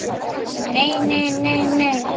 Nei, nei, nei, nei.